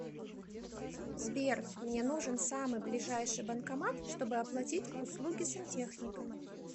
сбер мне нужен самый ближайший банкомат чтобы оплатить услуги сантехника